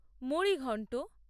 মুড়ি ঘন্ট